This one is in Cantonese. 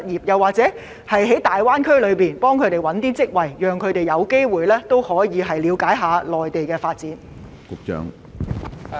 又或會否協助他們在大灣區尋找合適職位，讓他們有機會了解內地的發展？